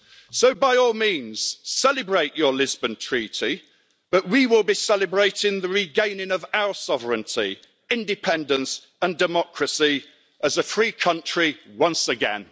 So by all means, celebrate your Lisbon Treaty, but we will be celebrating the regaining of our sovereignty, independence and democracy as a free country once again.